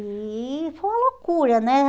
E foi uma loucura, né?